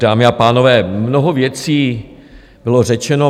Dámy a pánové, mnoho věcí bylo řečeno.